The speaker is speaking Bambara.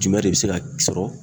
Jumɛn de bɛ se k'a sɔrɔ?